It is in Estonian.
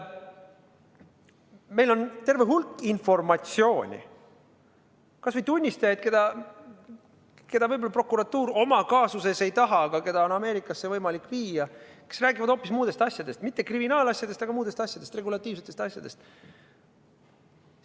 Meil on terve hulk informatsiooni, kas või tunnistajaid, kes võib-olla prokuratuuri tema kaasuses ei huvita, aga keda on Ameerikasse võimalik viia, kes räägivad hoopis muudest asjadest – mitte kriminaalasjadest, vaid muudest asjadest, regulatiivsetest asjadest.